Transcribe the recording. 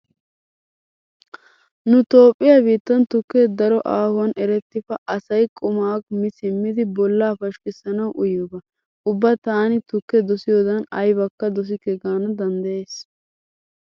Nu toophphiua biittan tukke daro aahuwan erettifa asay qumaa mi simmidi bollaa pashkkissanawu uyiyoba. Ubba taani tukke dosiyodn aybakka dosikke gaana danddyays.